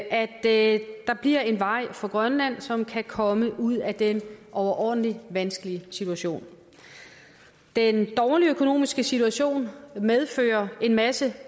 at der bliver en vej for grønland så de kan komme ud af den overordentlig vanskelig situation den dårlige økonomiske situation medfører en masse